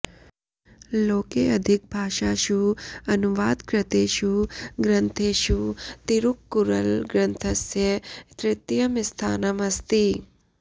लोके अधिकभाषासु अनुवादकृतेषु ग्रन्थेषु तिरुक्कुरळ् ग्रन्थस्य तृतीयं स्थानम् अस्ति